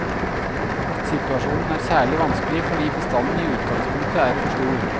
Situasjonen er særlig vanskelig fordi bestanden i utgangspunktet er for stor.